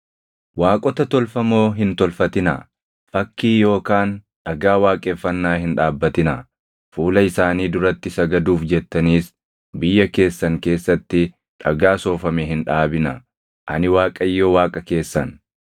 “ ‘Waaqota tolfamoo hin tolfatinaa; fakkii yookaan dhagaa waaqeffannaa hin dhaabbatinaa; fuula isaanii duratti sagaduuf jettaniis biyya keessan keessatti dhagaa soofame hin dhaabinaa. Ani Waaqayyo Waaqa keessan.